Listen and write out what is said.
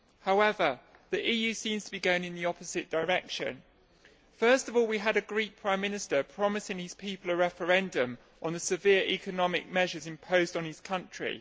However, the EU seems to be going in the opposite direction. First of all, we had a Greek Prime Minister promising his people a referendum on the severe economic measures imposed on his country.